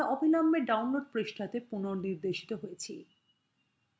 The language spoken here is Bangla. আমরা অবিলম্বে download পৃষ্ঠা তে পুনঃনির্দেশিত হয়েছি